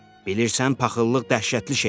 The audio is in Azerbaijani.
Bilirsən, paxıllıq dəhşətli şeydir.